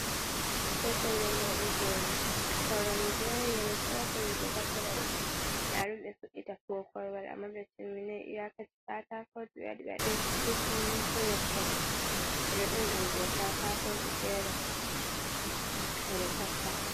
Ɗo pellen waɗugo koremje, leeso. Pellen be taffata dun . Nda dum be fuɗɗi tabbugo korowal amma be timminai. Iyakaci ka'atako be waɗɗi be waɗɗai su kucin, su leppol. Beɗo bili ɗum ɗau katakoji fere beɗo tappa.